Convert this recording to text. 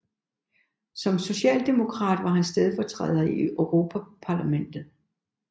Som socialdemokrat var han stedfortræder i Europaparlamentet